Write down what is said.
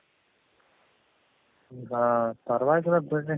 ಹೌದ ಪರವಾಗಿಲ್ಲ ಬಿಡ್ರಿ